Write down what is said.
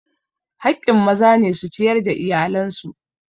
Haƙƙin maza ne su ciyar da iyalan su.